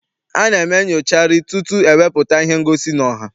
A na-eme nnyocharị tutu ewepụta ihe ngosi n'ọha.